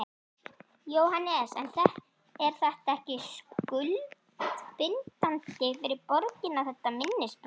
Jóhannes: En er þetta ekkert skuldbindandi fyrir borgina, þetta minnisblað?